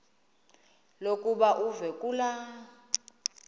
lokuba uve kulaa